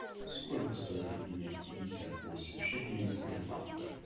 сколько стоит обменять пятьдесят восемь шекелей в сбербанке